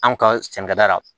Anw ka sɛnɛkɛda la